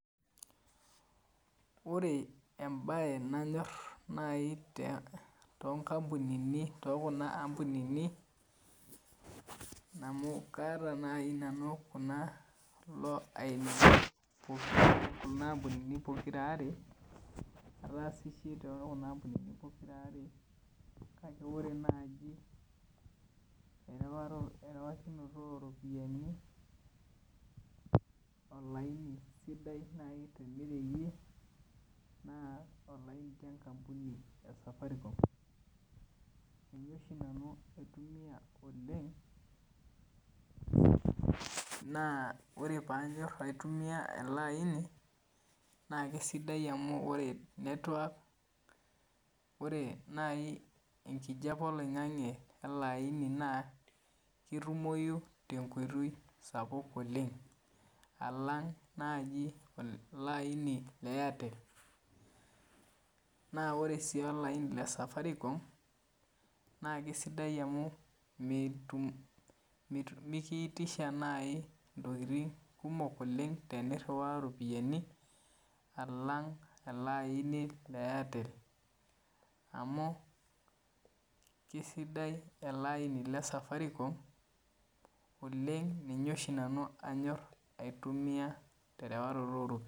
Ore ebaye nanyor nayii toonkampunini too kuna ampunini amu kaata nayii nanu kulo ainini oo Kuna kampunini pokira aare ataasishe sii tookuna ampunini pokira aare najo oree nayii eriwakinoto oo ropiyiani olayini nayii sidai tenirewie naa olaini lee nkampuni ee safaricom kanyorr oshi nanu aitumia oleng' naa ore paanyorr aitumia ele aini naa kesidai oleng' amuu ore network oree nayii enkihape oloing'ang'e ele aini naa ketumoyu tee nkoitoi sapuk oleng' alang' naaji ele aini lee Airtel, naa oree sii olaini lee safaricom naa kesidai amuu metum mekiitisha nayii intokiting' kumok oleng' teneiriwa iropiyiani alang' ele ayini le Airtel amu kesidai ele aini le safaricom oleng' ninye oshii nanu anyorr aitumia terewaroto oo ropiyani.